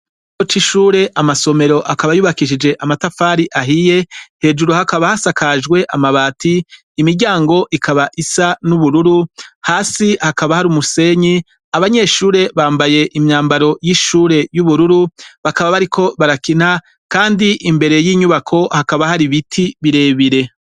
Ikigo c’ ishure amasomero akaba yubakishije amatafari ahiye, hejuru hakaba hasakajwe amabati ,imiryango ikaba isa n'ubururu ,hasi hakaba hari umusenyi ,abanyeshure bambaye imyambaro y'ishure y'ubururu bakaba bariko barakina kandi imbere y'inyubako hakaba hari biti birebire.